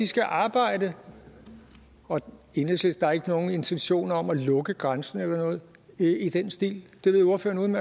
skal arbejde og enhedslisten har ikke nogen intention om at lukke grænsen eller noget i den stil og det ved ordføreren